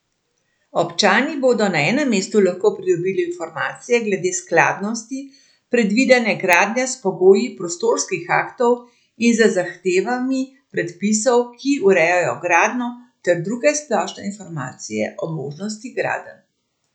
Občani bodo na enem mestu lahko pridobili informacije glede skladnosti predvidene gradnje s pogoji prostorskih aktov in z zahtevami predpisov, ki urejajo gradnjo, ter druge splošne informacije o možnosti gradenj.